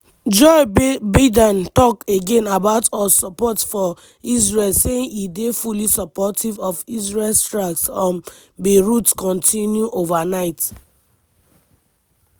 joe biden talk again about us support for israel saying e dey "fully supportive" of israel strikes on beirut continue overnight: